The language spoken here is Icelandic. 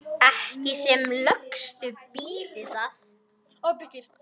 Ekki sem lökust býti það.